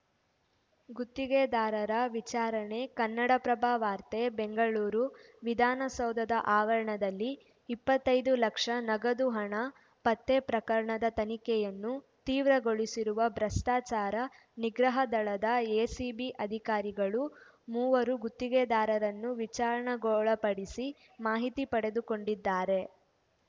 ಗುತ್ತಿಗೆದಾರರ ವಿಚಾರಣೆ ಕನ್ನಡಪ್ರಭ ವಾರ್ತೆ ಬೆಂಗಳೂರು ವಿಧಾನಸೌಧದ ಆವರಣದಲ್ಲಿ ಇಪ್ಪತ್ತೈದು ಲಕ್ಷ ನಗದು ಹಣ ಪತ್ತೆ ಪ್ರಕರಣದ ತನಿಖೆಯನ್ನು ತೀವ್ರಗೊಳಿಸಿರುವ ಭ್ರಷ್ಟಾಚಾರ ನಿಗ್ರಹ ದಳದ ಎಸಿಬಿ ಅಧಿಕಾರಿಗಳು ಮೂವರು ಗುತ್ತಿಗೆದಾರರನ್ನು ವಿಚಾರಣೆಗೊಳಪಡಿಸಿ ಮಾಹಿತಿ ಪಡೆದುಕೊಂಡಿದ್ದಾರೆ